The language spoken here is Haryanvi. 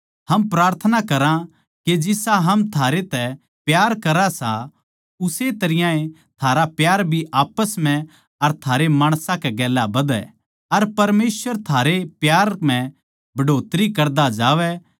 हम प्रार्थना करां के जिसा हम थारै तै प्यार करां सां उस्से तरियां ए थारा प्यार भी आप्पस म्ह अर सारे माणसां कै गेल्या बधै अर परमेसवर थारे प्यार म्ह बढ़ोतरी करदा जावै